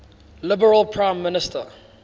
liberal prime minister